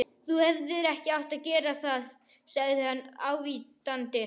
Þú hefðir ekki átt að gera það sagði hann ávítandi.